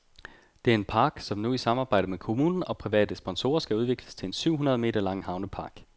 Det er den park, som nu i samarbejde med kommunen og private sponsorer skal udvikles til en syv hundrede meter lang havnepark.